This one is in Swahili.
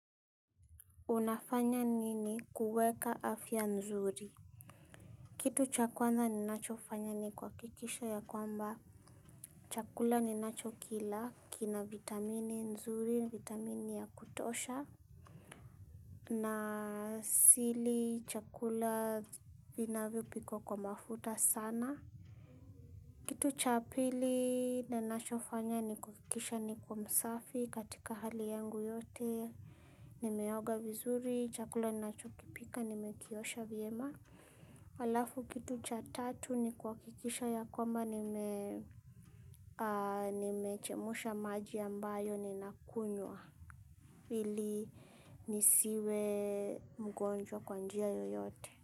Unafanya nini kuweka afya nzuri? Kitu cha kwanza ninachofanya ni kuhakikisha ya kwamba. Chakula ninachokila kina vitamini nzuri, vitamini ya kutosha. Na sili chakula vinavyopikwa kwa mafuta sana. Kitu cha pili ninachofanya ni kuhakikisha niko msafi katika hali yangu yote. Nimeoga vizuri, chakula ninachokipika, nimekiosha vyema. Alafu kitu cha tatu ni kuhakikisha ya koma nimechemusha maji ambayo ni nakunywa ili nisiwe mgonjwa kwa njia yoyote.